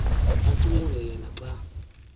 acinge yena xa